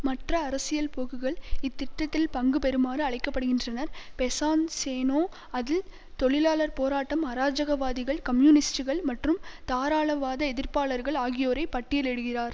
மற்ற அரசியல் போக்குகள் இத்திட்டத்தில் பங்கு பெறுமாறு அழைக்க படுகின்றனர் பெசான்ஸெநோ அதில் தொழிலாளர் போராட்டம் அராஜகவாதிகள் கம்யூனிஸ்ட்டுகள் மற்றும் தாராளவாத எதிர்ப்பாளர்கள் ஆகியோரை பட்டியல் இடுகிறார்